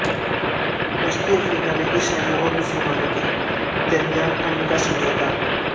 وسطی افریقہ میں عیسائیوں اور مسلمانوں نکے درمیامن امن کا سمجھوت